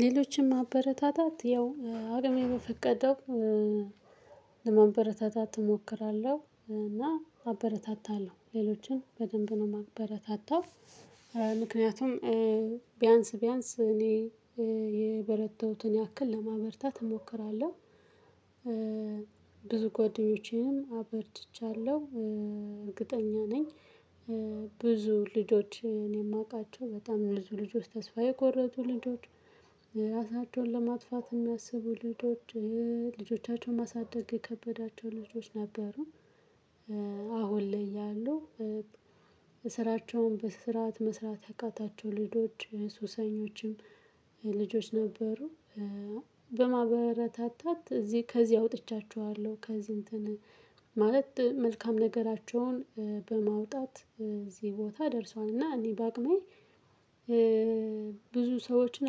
ሌሎችን ማበረታታት ያው አቅሜ በፈቀደው ለማበረታታት እሞክራለሁ እና አበረታታለሁ ሌሎችን በደንብ ነው የማበረታታው ምክንያቱም ቢያንስ ቢያንስ እኔ የበረታውትን ያክል ለማበርታት እሞክራለሁ። ብዙ ጓደኞቼንም አበርትቻለሁ እርግጠኛ ነኝ። ብዙ ልጆችን የማውቃቸው በጣም ብዙ ልጆች ተስፋ የቆረጡ ልጆች ራሳቸውን ለማጥፋት የሚያስቡ ልጆች ልጆቻቸውን ማሳደግ የከበዳቸው ልጆች ነበሩ። አሁን ላይ ያለው ስራቸውን በስርዓት መስራት ያቃታቸው ልጆች ሱሰኞችም ልጆች ነበሩ። በማበረታታት እዚህ ከዚህ አውጥቻቸኋለሁ ከዚህ እንትን ማለት መልካም ነገራቸውን በማውጣት እዚህ ቦታ ደርሷል። እና እኔ በአቅሜ ብዙ ሰዎችን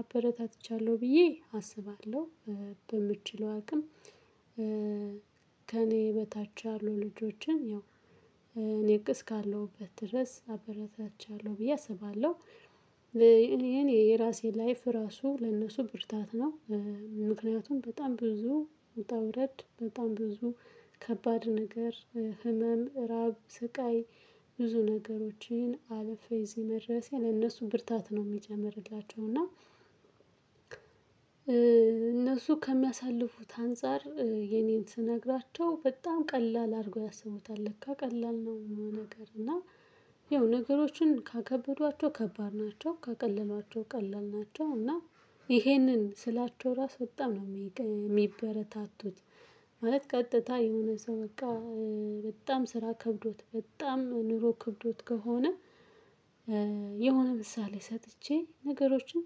አበረታትቻለሁ ብዬ አስባለሁ። በምችለው አቅም ከእኔ በታች ያሉ ልጆችን ያው እኔ እካለሁበት ድረስ አበረታትቻለሁ ብዬ አስባለሁ። እኔ የራሴ ላይፍ ራሱ ለነሱ ብርታት ነው። ምክንያቱም በጣም ብዙ ውጣ ውረድ በጣም ብዙ ከባድ ነገር ህመም እራብ ስቃይ ብዙ ነገሮችን አልፌ እዚህ መድረሴ ለእነሱ ብርታት ነው የሚጨምርላቸው። እና እነሱ ከሚያሳልፉት አንፃር የኔን ስነግራቸው በጣም ቀላል አድርገው ያሰቡታል ለካ ቀላል ነው። ይሄ ነገር እና ያው ነገሮችን ካከበዷቸው ከባድ ናቸው ካቀለሏቸው ቀላል ናቸው። እና ይሄንን ስላቸው ራሱ በጣም ነው የሚበረታቱት። ማለት ቀጥታ የሆነ ሰው በቃ በጣም ስራ ከብዶት በጣም ኑሮ ከብዶት ከሆነ። የሆነ ምሳሌ ሰጥቼ ነገሮችን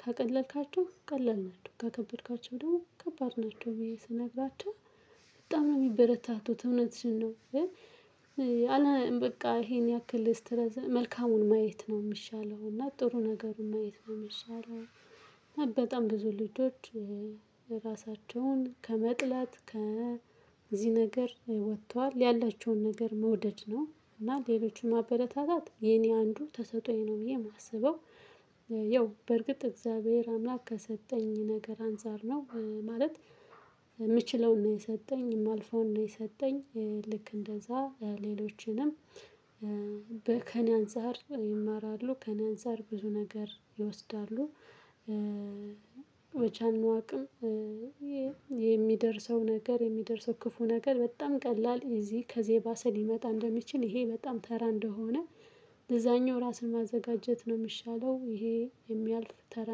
ካቀለልካቸው ቀላል ናቸው ካከበድካቸው ደግሞ ከባድ ናቸው ብዬ ስነግራቸው በጣም ነው የሚበረታቱት እውነትሽን ነው። አለ በቃ ይሄን ያክል መልካሙን ማየት ነው የሚሻለው እና ጥሩ ነገሩን ማየት ነው የሚሻለው። በጣም ብዙ ልጆች ራሳቸውን ከመጥላት ከዚህ ነገር ወጥተዋል ያላቸውን ነገር መውደድ ነው እና ሌሎቹን ማበረታታት የኔ አንዱ ተሰጦዬ ነው ብዬ የማስበው። ያው በርግጥ እግዚአብሔር አምላክ ከሰጠኝ ነገር አንፃር ነው። ማለት የምችለውን ነው የሰጠኝ የማልፈውን ነው የሰጠኝ ልክ እንደዛ ሌሎችንም ከእኔ አንፃር ይማራሉ ከእኔ አንፃር ብዙ ነገር ይወስዳሉ። መቼ እነደሆነ አናውቅም። የሚደርሰው ነገር የሚደርሰው ክፉ ነገር በጣም ቀላል እዚህ ከዚህ ባሰ ሊመጣ እንደሚችል ይሄ በጣም ተራ እንደሆነ። ለዛኛው ራስን ማዘጋጀት ነው የምሻለው ይሄ የሚያልፍ ተራ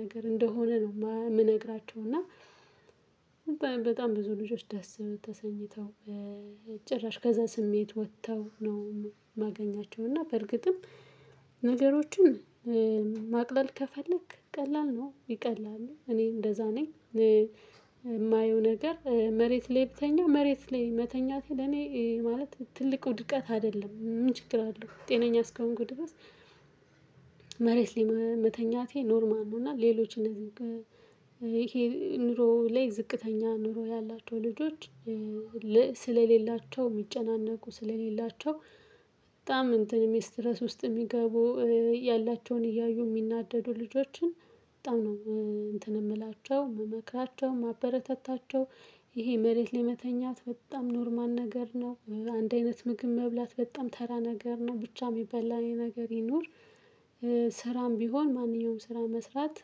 ነገር እንደሆነ ነው የምነግራቸው እና። በጣም ብዙ ልጆች ደስ ተሰኝተው ጭራሽ ከዛ ስሜት ወጥተው ነው የማገኛቸው። እና በርግጥም ነገሮችን ማቅለል ከፈለክ ቀላል ነው ይቀላል እኔ እንደዛ ነኝ። የማየው ነገር መሬት ላይ ብተኛ መሬት ላይ መተኛቴ ለኔ ማለት ትልቅ ውድቀት አይደለም ምን ችግር አለው ጤነኛ እስከሆንኩ ድረስ። መሬት ላይ መተኛቴ ኖርማል ነው። እና ሌሎችን እንደዚህ ኑሮ ላይ ዝቅተኛ ኑሮ ያላቸው ልጆች ስለሌላቸው የሚጨናነቁ ስለሌላቸው በጣም እንትን ስትረስ ውስጥ የሚገቡ ያላቸውን እያዩ የሚናደዱ ልጆችን በጣም ነው እንትን የምላቸው የምመክራቸው የማበረታታቸው። ይሄ መሬት ላይ መተኛት በጣም ኖርማል ነገር ነው አንድ አይነት ምግብ መብላት በጣም ተራ ነገር ነው ብቻ የሚበላ ነገር ይኑር። ስራም ቢሆን ማንኛውም ስራ መስራት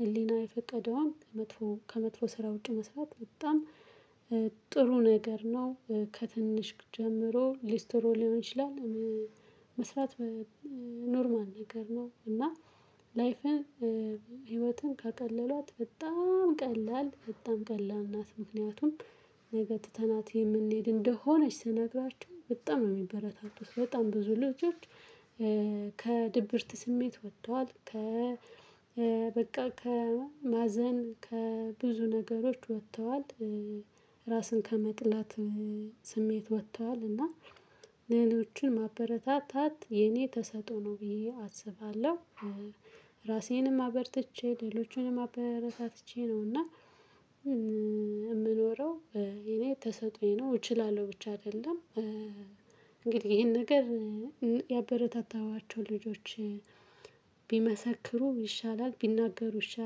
ህሊና የፈቀደውን ከመጥፎ ከመጥፎ ስራ ውጪ መስራት በጣም ጥሩ ነገር ነው። ከትንሽ ጀምሮ ሊስትሮ ሊሆን ይችላል። መስራት ኖርማል ነገር ነው። እና ላይፍን ህይወትን ከቀለሏት በጣም ቀላል በጣም ቀላል ናት። ምክንያቱም ነገ ትተናት የምንሄድ እንደሆነች ስነግራቸው በጣም ነው የሚበረታቱት። በጣም ብዙ ልጆች ከድብርት ስሜት ወጥተዋል ከ በቃ ከማዘን ከብዙ ነገሮች ወጥተዋል። ራስን ከመጥላት ስሜት ወጥተዋል። እና ሌሎችን ማበረታታት የኔ ተሰጥኦ ነው ብዬ አስባለሁ። ራሴንም አበርትቼ ሌሎቹንም አበረታትቼ ነውና የምኖረው። እኔ ተሰጦዬ ነው እችላለሁ ብቻ አይደለም እንግዲህ ይሄን ነገር። ያበረታታኋቸው ልጆች ቢመሰክሩ ይሻላል ቢናገሩ ይሻላል